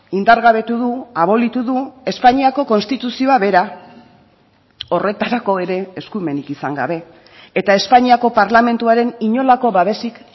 indargabetu du abolitu du espainiako konstituzioa bera horretarako ere eskumenik izan gabe eta espainiako parlamentuaren inolako babesik